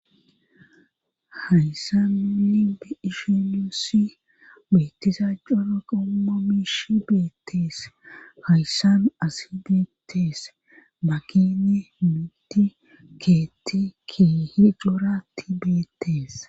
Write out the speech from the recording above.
Hayssanu linbe ishinusi beettizaacona qoma miishi beettees hayssanu asi beetees makine mitti keetti kihiqlora ti beettees.